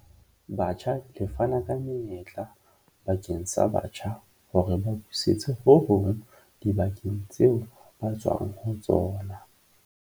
Batjha le fana ka menyetla bakeng sa batjha hore ba busetse ho hong dibakeng tseo ba tswang ho tsona.